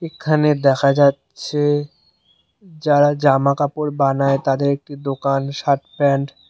এখানে দেখা যাচ্ছে যারা জামাকাপড় বানায় তাদের একটি একটি দোকান শার্ট প্যান্ট --